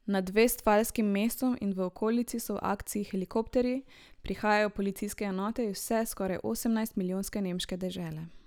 Nad vestfalskim mestom in v okolici so v akciji helikopterji, prihajajo policijske enote iz vse skoraj osemnajst milijonske nemške dežele.